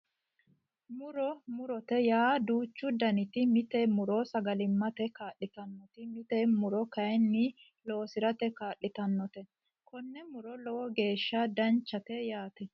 Muro murote yaa duuchu danite mite muro sagalimmate kaa'litannote mite muro kayinni loosirate kaa'litannote konnira muro lowo geeshsha danchate yaate